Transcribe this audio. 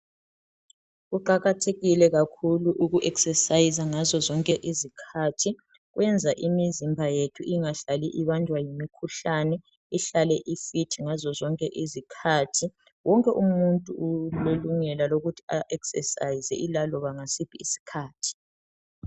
Kuqakathekile kakhulu ukuexerciser ngazozonke izkhathi kuyenza imizimba yethu ingahlali ibanjwa yimikhuhlane ihlale ifit ngazozonke izikhathi. Wonke umuntu ulelungelo lokuthi a exercise ilaloba ngasiphi isikhathi.